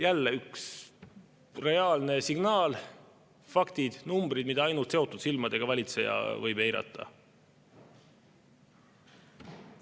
Jälle üks reaalne signaal, faktid, numbrid, mida ainult seotud silmadega valitseja võib eirata.